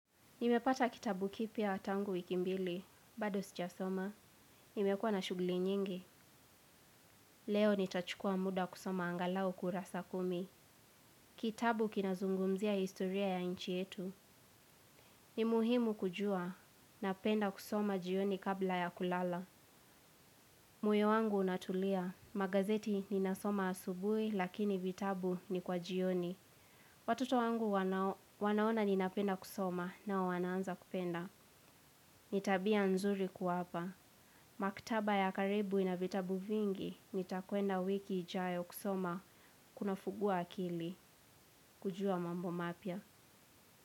Nimepata kitabu kipya tangu wiki mbili, bado sijasoma. Nimekuwa na shuguli nyingi. Leo nitachukua muda kusoma angalau kurasa kumi. Kitabu kinazungumzia historia ya nchi yetu. Nimuhimu kujua, napenda kusoma jioni kabla ya kulala. Moyo wangu unatulia, magazeti ninasoma asubui lakini vitabu ni kwa jioni. Watoto wangu wanaona ninapenda kusoma nao wanaanza kupenda. Ni tabia nzuri kuwapa. Maktaba ya karibu ina vitabu vingi nitakwenda wiki ijayo kusoma kunafungua akili kujua mambo mapya.